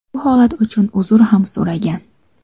Bu holat uchun uzr ham so‘ragan.